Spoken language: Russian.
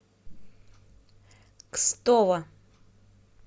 кстово